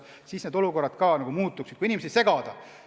Siis need olukorrad ka muutuksid, kui inimesi n-ö segada.